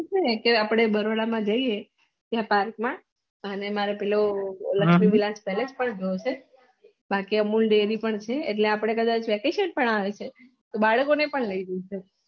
કશું નહિ ત્યાં આપળે બરોડા માં જ્યીએ ત્યાં પાર્ક માં અને મારે પેલું લક્ષ્મી વિલાસ પાલેસ પણ જોયું છે બાકી અમુલ દેરી પણ છે એટલે આપળે vacation પણ આવે છે એટલે આપળે બાળકો ને પણ લઇ જી સક્યે